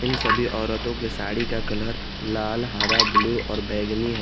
इन सभी औरतों के साड़ी का कलर लाल हरा ब्लू और बैंगनी है।